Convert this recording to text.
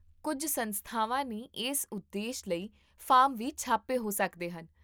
ਕੁੱਝ ਸੰਸਥਾਵਾਂ ਨੇ ਇਸ ਉਦੇਸ਼ ਲਈ ਫਾਰਮ ਵੀ ਛਾਪੇ ਹੋ ਸਕਦੇ ਹਨ